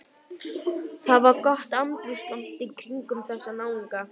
Það var gott andrúmsloft kringum þessa náunga.